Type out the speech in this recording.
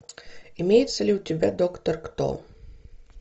имеется ли у тебя доктор кто